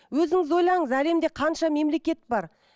өзіңіз ойлаңыз әлемде қанша мемлекет бар